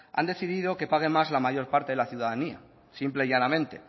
han decidido que paguen más la mayor parte de la ciudadanía simple y llanamente